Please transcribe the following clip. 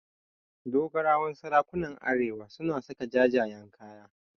Dogarawan sarakunan arewa suna saka jajayen kaya.